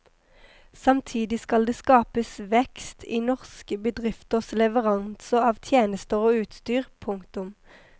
Samtidig skal det skapes vekst i norske bedrifters leveranser av tjenester og utstyr. punktum